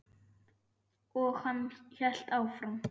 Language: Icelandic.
Og hann hélt áfram.